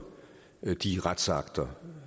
de retsakter